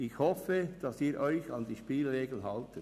Ich hoffe, dass Sie sich an die Spielregeln halten.